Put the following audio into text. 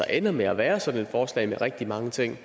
ender med at være sådan et forslag med rigtig mange ting